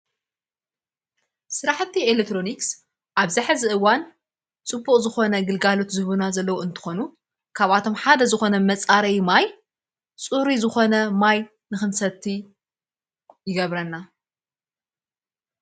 ስራሕቲ ኤሌትሮኒክስ ኣብዚ ሐዚ እዋን ጽቡቕ ዝኾነ ግልጋሎት ዝህቡና ዘለዉ እንተኾኑ ካብኣቶም ሓደ ዝኾነ መጻረይ ማይ ፅሩይ ዝኾነ ማይ ንኽምሰቲ ይገብረና።